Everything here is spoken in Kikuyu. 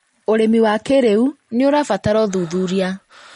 ũrĩmi wa kĩrĩu nĩũrabatara ũthuthuria